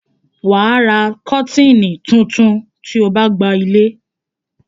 wà á ra kọ́tìnnì tuntun tí o gba ilé.